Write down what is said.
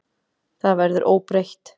Það verður óbreytt.